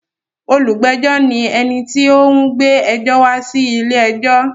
Olùgbẹ́jọ́ ní ẹni tí ó ń gbé ẹjọ́ wá sí ilé-ẹjọ́.